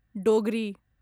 Dogri